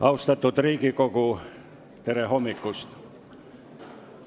Austatud Riigikogu, tere hommikust!